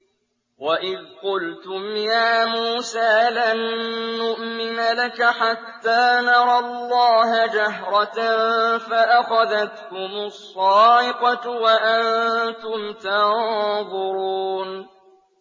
وَإِذْ قُلْتُمْ يَا مُوسَىٰ لَن نُّؤْمِنَ لَكَ حَتَّىٰ نَرَى اللَّهَ جَهْرَةً فَأَخَذَتْكُمُ الصَّاعِقَةُ وَأَنتُمْ تَنظُرُونَ